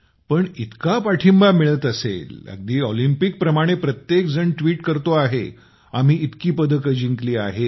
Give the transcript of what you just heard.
पण इतका पाठींबा मिळत असेल अगदी ऑलिंपिकप्रमाणे प्रत्येक जण ट्विट करत आहे आम्ही इतकी पदकं जिंकली आहेत